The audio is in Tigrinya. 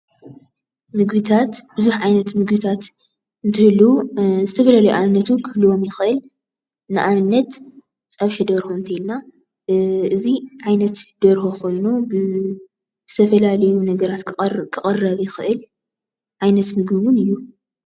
ምግብታት ብዙሕ ዓይነት ምግብታት እንትህልው ዝተፈላለዩ ኣብነት ውን ክንህልዎም ውን ንኽእል፡፡ ንኣብነት ፀብሒ ደርሆ እንተይልና እዚ ዓይነት ደርሆ ኾይኑ ብዝተፈላለዩ ነገራት ክቕረብ ይኽእል ዓይነት ምግቢ ውን እዩ፡፡